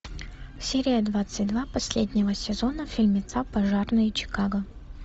серия двадцать два последнего сезона фильмеца пожарные чикаго